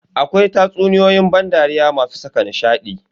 Akwai tatsuniyoyin ban dariya masu saka nishadi.